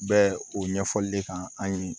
Bɛ o ɲɛfɔli de kan an ye